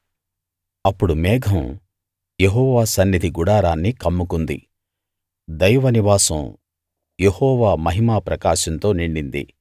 అప్పుడు మేఘం యెహోవా సన్నిధి గుడారాన్ని కమ్ముకుంది దైవ నివాసం యెహోవా మహిమా ప్రకాశంతో నిండింది